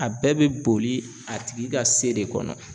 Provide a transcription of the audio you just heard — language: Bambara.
A bɛɛ be boli a tigi ka se de kɔnɔ